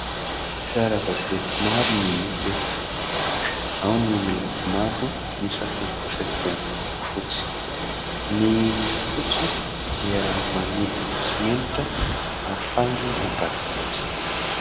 Fiara vaventy maro no hita eto : ao ny miloko mavo, ny sasany kosa dia miloko fotsy. Ny miloko fotsy dia manodina simenitra ahafahana mandrafitra azy.